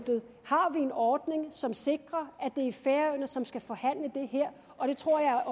har en ordning som sikrer at det er færøerne som skal forhandle det her og det tror jeg